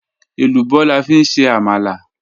Ẹlúbọ̀ làfi n ṣe àmàlà